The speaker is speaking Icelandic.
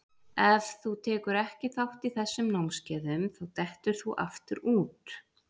Ef þú tekur ekki þátt í þessum námskeiðum þá dettur þú aftur úr.